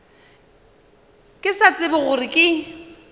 ke sa tsebe gore ke